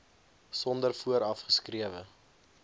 sonder vooraf geskrewe